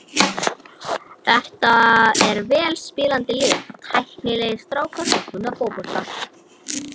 Þetta er vel spilandi lið, tæknilegir strákar sem kunna fótbolta.